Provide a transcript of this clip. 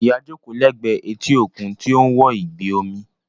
Ìyá jókòó lẹ́gbẹ̀ẹ́ etí òkun tí ó ń wo ìgbì omi